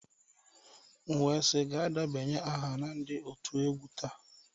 M wee sị gaa debanye aha na ndị otu egwu taa